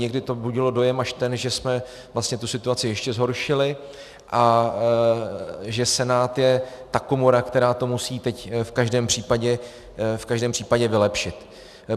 Někdy to budilo dojem až ten, že jsme vlastně tu situaci ještě zhoršili a že Senát je ta komora, která to musí teď v každém případě vylepšit.